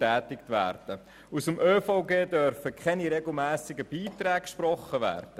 Gestützt auf das ÖVG dürfen keine regelmässigen Beiträge gesprochen werden.